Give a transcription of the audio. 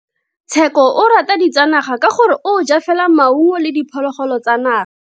Tsheko o rata ditsanaga ka gore o ja fela maungo le diphologolo tsa naga.